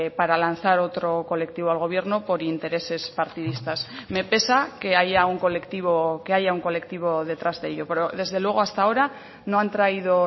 para lanzar otro colectivo al gobierno por intereses partidistas me pesa que haya un colectivo que haya un colectivo detrás de ello pero desde luego hasta ahora no han traído